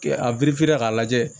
Kɛ a k'a lajɛ